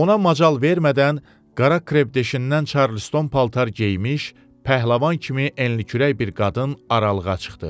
Ona macal vermədən qara kreşdən Charleston paltar geymiş, pəhləvan kimi enli-kürək bir qadın aralığa çıxdı.